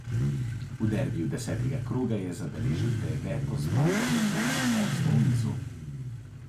V derbiju desetega kroga je zabeležil deveto zmago oziroma osmo v nizu.